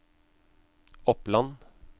Oppland